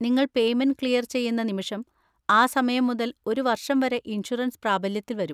നിങ്ങൾ payment clear ചെയ്യുന്ന നിമിഷം, ആ സമയം മുതൽ ഒരു വർഷം വരെ ഇൻഷുറൻസ് പ്രാബല്യത്തിൽ വരും.